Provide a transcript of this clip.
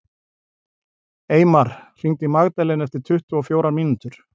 Eymar, hringdu í Magdalenu eftir tuttugu og fjórar mínútur.